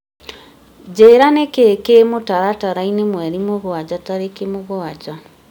njĩĩra nĩ kĩĩ kĩ mũtaratara-inĩ mweri wa mũgwanja tarĩki mũgwanja